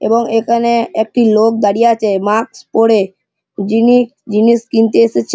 এবং এখানে একটি লোক দাঁড়িয়ে আছে মাস্ক পড়ে যিনি জিনিস কিনতে এসেছে।